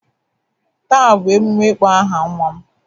Taa bụ emume ịkpọ aha nwa m.